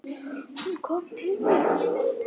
Hún kom til mín.